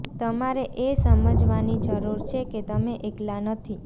તમારે એ સમજવાની જરૂર છે કે તમે એકલા નથી